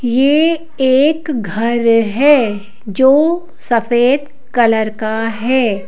यह एक घर है जो सफेद कलर का है।